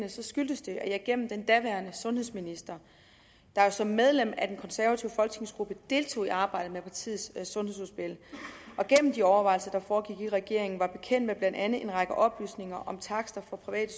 skyldes det at jeg gennem den daværende sundhedsminister der jo som medlem af den konservative folketingsgruppe deltog i arbejdet med partiets sundhedsudspil og gennem de overvejelser der foregik i regeringen var bekendt med blandt andet en række oplysninger om takster på private